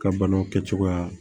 Ka banaw kɛcogoya